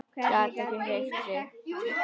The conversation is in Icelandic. Gat ekki hreyft sig.